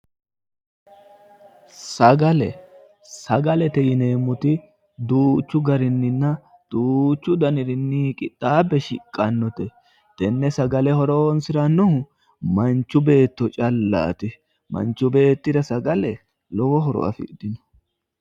Sagale, sagalete yineemmoti duuchu garinninna duuchu daninni qixxaabbe shiqqannote, tenne sagale horonsi'rannohu manchu beetto callaati, manchu beettira sagale lowo horo afidhino.